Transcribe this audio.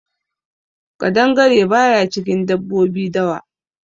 Ƙadangare baya cikin dabbobi dawa.